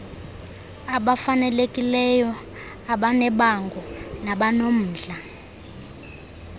abafanelekileyo abanebango nabanomdla